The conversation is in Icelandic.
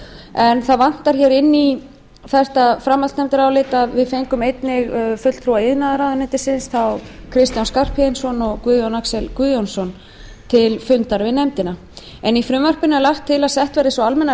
en það vantar inn í þetta framhaldsnefndarálit að við fengum einnig fulltrúa iðnaðarráðuneytisins þá kristján skarphéðinsson og guðjón axel guðjónsson til fundar við nefndina eftirfarafrþ tólf hundruð og þrjú í frumvarpinu er lagt til að sett verði sú almenna